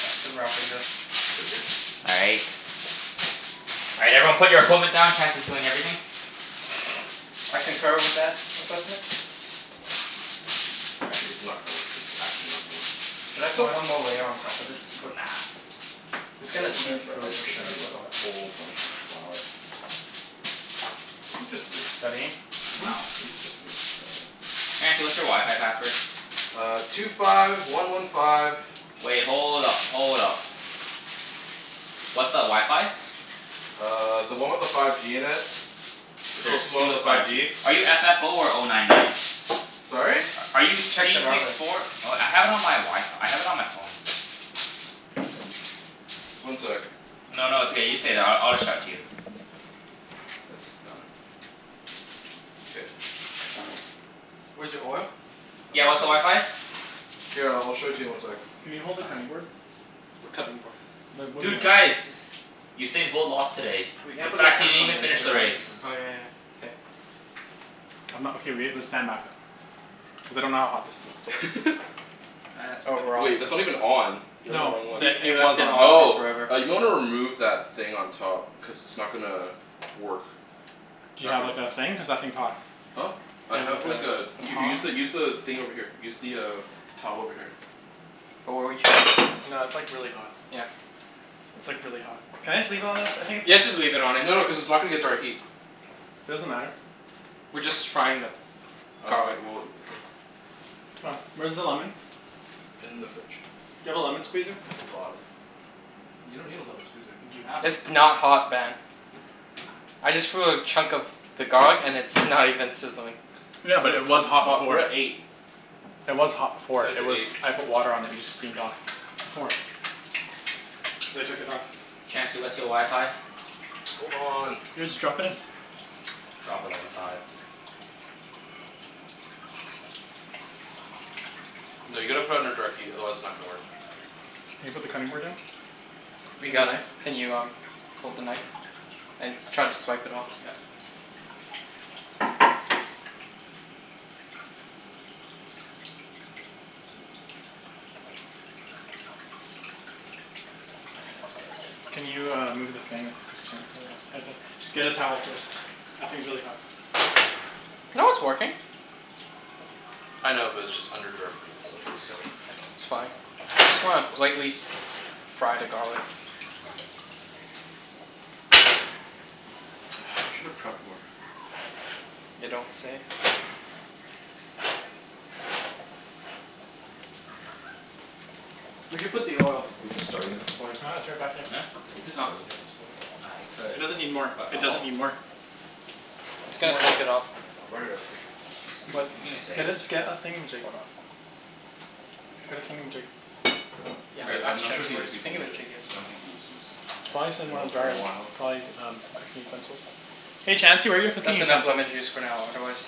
Back to wrapping this. K, we're good? All right. All right, everyone put your equipment down. Chancey's doing everything. I concur with that assessment. Actually, this is not gonna work. This is actually not gonna work. Should I put Why? one more layer on top of this for Nah. It's It's gonna getting there, seep but through, I for think sure, we need but like a whatever. whole bunch more flour. Maybe it's just me? Studying? Hmm? No. Maybe it's just me? I dunno. Chancey, what's your wi-fi password? Uh, two five one one five Wait, hold up. Hold up. What's the wi-fi? Uh, the one with the five G in it. The There's closest one two with the with five five G. G. Are you f f oh, or oh nine nine? Sorry? Are you Check the C router. six four Oh, I have it on my Wi- F- I have it on my phone. One sec. No, no, it's okay. You stay there. I I'll just shout to you. This is done. K. Where's your oil? I'm Yeah, gonna what's the need wi-fi? s- Here, I'll show it to you in one sec. Can you hold the Okay. cutting board? What cutting board? The wooden Dude, one. guys! Usain Bolt lost today. We can't In put the fact, he salmon didn't on even there until finish the the race. garlic is done. Oh yeah yeah. K. I'm not okay, we have to stand back though. Cuz I don't know how hot this this still is. Wait, That's that's gonna not even on. You're on the wrong No, one. He the, he it left was it on. on for Oh. forever. Uh, you might wanna remove that thing on top. Cuz it's not gonna work. Do you Not have gonna like, a thing? Cuz that thing's hot. Huh? I Do you have have like like a a a U- use tong? the use the thing over here. Use the uh towel over here. Wh- what were you No, it's like, really hot. Yeah. It's like, really hot. Can I just leave it on this? I think it's Yeah, just fine. leave it on it. No no, cuz it's not gonna get direct heat. Doesn't matter. We're just frying the Oh, okay. garlic. Well, okay. C'mon. Where's the lemon? In the fridge. Do you have a lemon squeezer? At the bottom. You don't need a lemon squeezer. Do you have one? It's not hot, Ben. I just threw a chunk of the garlic and it's not even sizzling. Yeah, But, but We're it at was cuz the it's hot top, hot, we're before. we're at at eight. eight. It was hot before. Set it It to was, eight. I put water on it and it just steamed off. Before. Cuz I took it off. Chancey, what's your wi-fi? Hold on. Yeah, just drop it in. Drop it like it's hot. No, you gotta put it under direct heat, otherwise it's not gonna work. Can you put the cutting board in? We And a got it. knife? Can you um hold the knife? And try to swipe it all, yeah. My hands got a bit Can you, uh, move the thing? Cuz Chan Just get a towel first. That thing's really hot. No, it's working. I know, but it's just under direct heat, so I'm just saying. It's fine. We just wanna lightly s- fry the garlic. I should have prepped more. You don't say. Where'd you put the oil? Are you just starting at this point? Oh right, it's right back there. Huh? Are you just Oh. starting at this point? I It could. doesn't need more. But It I'll doesn't help. need more. It's Oh, gonna soak it up. here, I'll write it out for you. But you can just say get it. a, just get a thingamajig. Hold on. Get a Here. thingamajig. Yeah, Cuz All right. like, I'm ask not sure if Chancey the where other his people need it. thingamajig Cuz is. I don't Oh. think Ibs Okay. has been over in a while. Try um some cooking utensils. Hey Chancey, where are your cooking That's enough lemon utensils? juice for now, otherwise